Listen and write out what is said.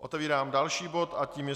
Otevírám další bod a tím je